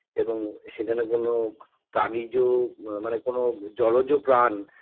এবং সেখানে কোন প্রাণিজ মানে কোন জলজ প্রাণ